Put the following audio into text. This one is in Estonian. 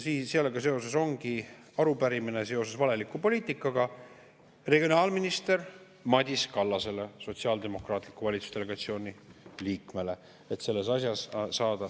Sellega seoses ongi arupärimine valeliku poliitika kohta regionaalminister Madis Kallasele, Sotsiaaldemokraatliku Erakonna valitsusdelegatsiooni liikmele, et selles asjas selgust saada.